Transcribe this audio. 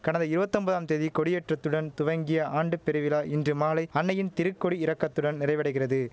கடந்த இருவதொம்பதாம் தேதி கொடியேற்றத்துடன் துவங்கிய ஆண்டுப் பெருவிழா இன்று மாலை அன்னையின் திருக்கொடி இறக்கத்துடன் நிறைவடைகிறது